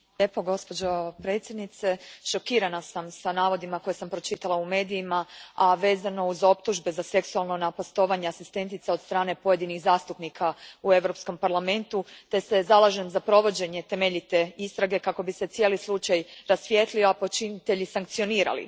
Gospođo predsjednice, šokirana sam navodima koje sam pročitala u medijima vezano uz optužbe za seksualno napastovanje asistentica od strane pojedinih zastupnika u Europskom parlamentu te se zalažem za provođenje temeljite istrage kako bi se cijeli slučaj rasvijetlio, a počinitelji sankcionirali.